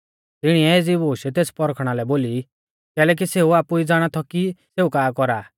तिणीऐ एज़ी बूश तेस पौरखणा लै बोली कैलैकि सेऊ आपु ई ज़ाणा थौ कि सेऊ का कौरा